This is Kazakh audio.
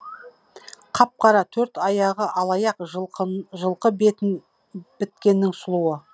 қап қара төрт аяғы алаяқ жылқы жылқы біткеннің сұлуы